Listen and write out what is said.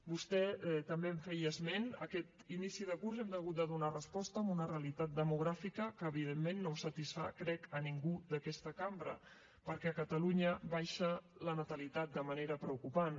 vostè també en feia esment aquest inici de curs hem hagut de donar resposta a una realitat demogràfica que evidentment no satisfà crec ningú d’aquesta cambra perquè a catalunya baixa la natalitat de manera preocupant